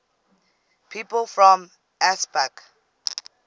people from ansbach